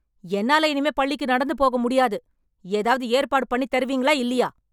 என்னால இனிமே பள்ளிக்கு நடந்து போக முடியாது, ஏதாவது ஏற்பாடு பண்ணித் தருவீங்களா இல்லியா?